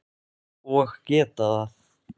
Og geta það.